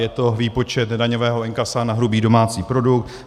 Je to výpočet daňového inkasa na hrubý domácí produkt.